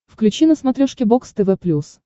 включи на смотрешке бокс тв плюс